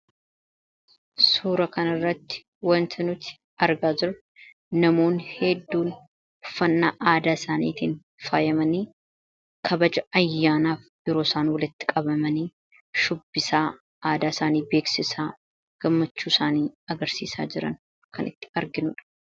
Suuraa kanarratti wanti nuti argaa jirru, namoonni hedduun uffannaa aadaa isaaniitiin faayamanii kabaja ayyaanaaf yeroo isaan walitti qabamanii shubbisaa aadaa isaanii beeksisaa gammachuu isaanii agarsiisaa jiran kan arginudha